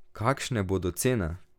Kakšne bodo cene?